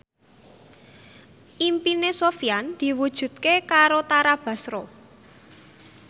impine Sofyan diwujudke karo Tara Basro